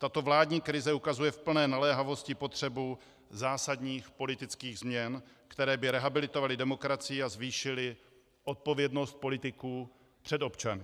Tato vládní krize ukazuje v plné naléhavosti potřebu zásadních politických změn, které by rehabilitovaly demokracii a zvýšily odpovědnost politiků před občany.